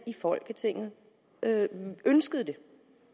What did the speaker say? i folketinget ønsker det